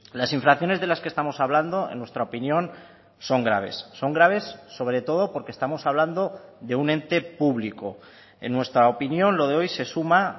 las infracciones de las que estamos hablando en nuestra opinión son graves son graves sobre todo porque estamos hablando de un ente público en nuestra opinión lo de hoy se suma